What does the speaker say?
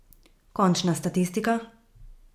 Končna statistika?